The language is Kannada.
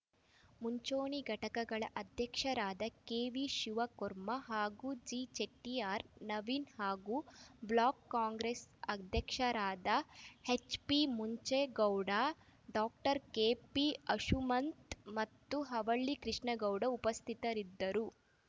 ಮುಂಚೂಣಿ ಘಟಕಗಳ ಅಧ್ಯಕ್ಷರಾದ ಕೆವಿಶಿವಕುರ್ಮ ಕಾರ್ತಿಕ್‌ಜಿಚೆಟ್ಟಿಯಾರ್‌ ನವೀನ್‌ ಹಾಗೂ ಬ್ಲಾಕ್‌ ಕಾಂಗ್ರೆಸ್‌ ಅಧ್ಯಕ್ಷರಾದ ಎಚ್‌ಪಿಮುಂಚೆಗೌಡ ಡಾಕ್ಟರ್ ಕೆಪಿಅಂಶುಮಂತ್‌ ಮತ್ತು ಹವಳ್ಳಿ ಕೃಷ್ಣೇಗೌಡ ಉಪಸ್ಥಿತರಿದ್ದರು